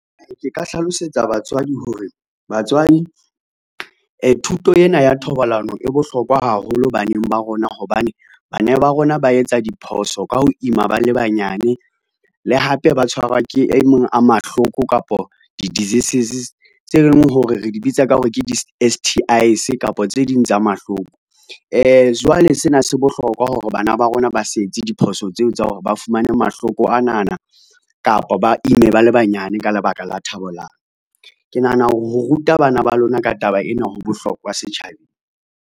Ke ka hlalosetsa batswadi hore, batswadi thuto ena ya thobalano e bohlokwa haholo baneng ba rona hobane, bana ba rona ba etsa diphoso ka ho ima ba le banyane le hape ba tshwarwa ke e mong a mahloko kapo di-diseases tse leng hore re di bitsa ka hore ke di-S_T_Is kapa tse ding tsa mahloko. Jwale sena se bohlokwa hore bana ba rona ba setse diphoso tseo tsa hore ba fumane mahloko anana kapa ba ime ba le banyane ka lebaka la thabollano, ke nahana hore ho ruta bana ba lona ka taba ena ho bohlokwa setjhabeng.